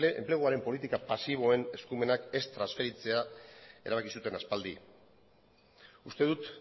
enpleguaren politika pasiboen eskumenak ez transferitzea erabaki zuten aspaldi uste dut